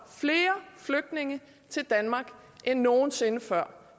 flere flygtninge til danmark end nogen sinde før